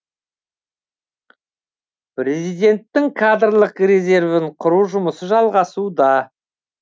президенттің кадрлық резервін құру жұмысы жалғасуда